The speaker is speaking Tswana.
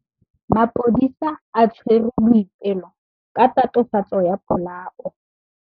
Maphodisa a tshwere Boipelo ka tatofatsô ya polaô.